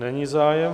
Není zájem.